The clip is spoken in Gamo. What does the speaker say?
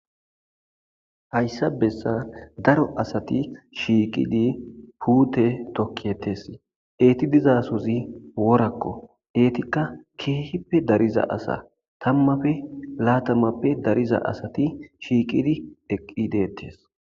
hayssa bessa daro asati shiiqidi puute tokkietes eeti dizasozi worakko eetikka keehippe dariza asa tammapfe laatamappe dariza asati shiiqidi eqqi deettes